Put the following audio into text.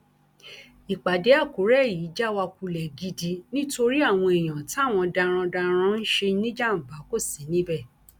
ìpàdé àkùrẹ́ yìí já wa kulẹ̀ gidi nítorí àwọn èèyàn táwọn darandaran ń ṣe níjàmbá kò sí níbẹ